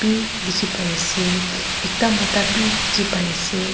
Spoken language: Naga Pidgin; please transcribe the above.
dikhi pai ase ekta mota bi dikhi pai ase.